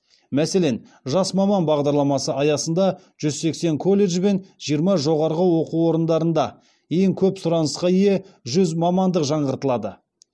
мәселен жас маман бағдарламасы аясында жүз сексен колледж бен жиырма жоғарғы оқу орындарында ең көп сұранысқа ие жүз мамандық жаңғыртылады